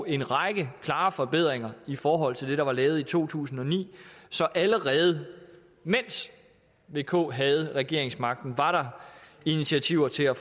en række klare forbedringer i forhold til det der var lavet i to tusind og ni så allerede mens vk havde regeringsmagten var der initiativer til at